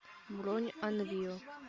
бронь анвио